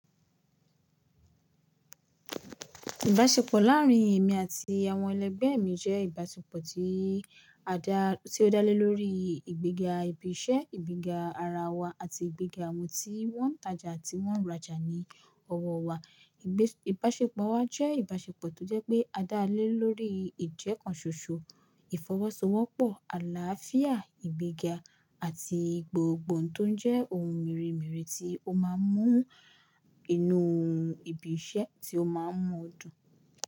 Ìbáṣepọ̀ láàárín èmi àti àwọn ẹlẹgbẹ́ mi jẹ́ ìbáṣepọ̀ tí a dá, tí ó dá lé lórí ìgbéga ibi iṣẹ́, ìgbéga ara wa àti ìgbéga àwọn tí wọ́n ń tajà àti wọ́n ń rajà ní ọwọ́ wa. Ìbáṣepọ̀ wa jẹ́ ìbáṣepọ̀ tó jẹ́ pé a dá lé lórí ìjẹ́kánṣóṣó, ìfọwọ́sowọ́pọ̀, àlàáfíà, ìgbéga àti gbogbo ohun tó jẹ́ ohun mèremère tí ó máa ń mú inú ibi iṣẹ́ tí ó máa ń mu dùn.